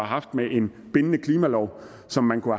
haft med en bindende klimalov som man kunne